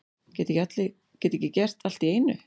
Geta ekki gert allt í einu